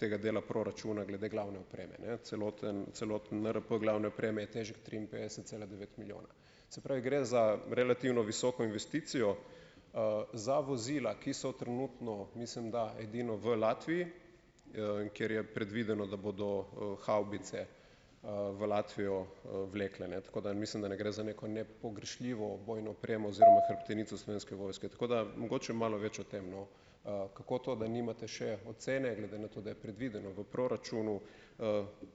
tega dela proračuna glede glavne opreme, ne. Celoten celoten NRP glavne opreme je težek triinpetdeset cela devet milijona. Se pravi, gre za relativno visoko investicijo. Za vozila, ki so trenutno, mislim da, edino v Latviji, kjer je predvideno, da bodo, havbice, v Latvijo, vlekli, ne. Tako da mislim, da ne gre za neko nepogrešljivo vojni opremo oziroma hrbtenico Slovenske vojske. Tako da mogoče malo več o tem, no, kako to, da nimate še ocene, glede na to, da je predvideno v proračunu,